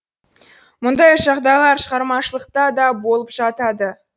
мұндай жағдайлар шығармашылықта да болып жатады